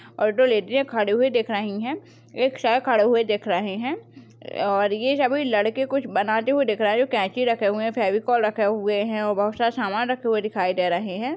ओर दो लेडिज खड़े हुए दिख रही है एक सर खड़े हुए दिख रही है और ये सबै लड़के कुछ बनाते हुए दिख रही है दो कैंची रखे हुए फ़ेवीकोल रखे हुए है और बहुत सारा सामान रखे हुए दिखाई दे रही है।